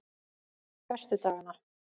föstudagana